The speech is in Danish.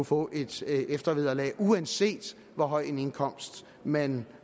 få et eftervederlag uanset hvor høj en indkomst man